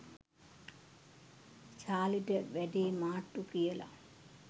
චාලිට වැඩේ මාට්ටු කියලා.